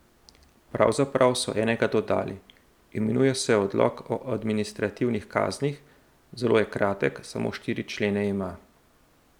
Pravzaprav so enega dodali, imenuje se Odlok o administrativnih kaznih, zelo je kratek, samo štiri člene ima.